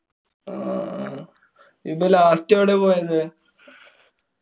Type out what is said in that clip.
അഹ് ഇയ്യ്‌പ്പൊ last എവടെ പോയത്?